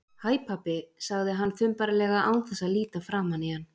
Hæ, pabbi- sagði hann þumbaralega án þess að líta framan í hann.